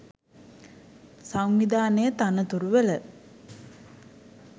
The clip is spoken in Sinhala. සංවිධානයේ තනතුරුවල